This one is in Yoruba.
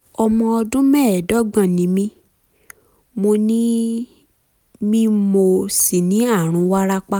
ọmọ ọdún mẹ́ẹ̀ẹ́dọ́gbọ̀n ni mí mo ni mí mo sì ní ààrùn wárápá